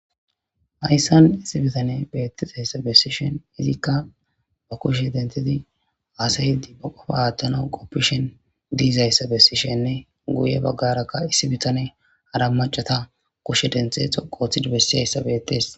hayssan issi bitane beettizayssa bessishen izikka ba kushe denthizi haasayiddi ba qofa aattana qoppishen diizayssa bessishenne guye baggarakka issi bitane hara macata kushe denthe xoqooththidi bessihayssa bettes